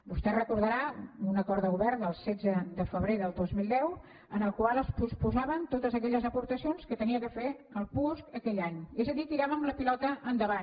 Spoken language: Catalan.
vostè deu recordar un acord de govern del setze de febrer del dos mil deu en el qual es posposaven totes aquelles aportacions que havia de fer el puos aquell any és a dir tiràvem la pilota endavant